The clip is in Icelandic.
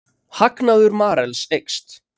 Hagnaður Marels eykst